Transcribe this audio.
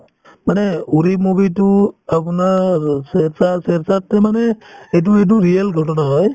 মানে uri movie তো আপোনাৰ shershaah~shershaah মানে এইটোৰ এইটো real ঘটনা হয়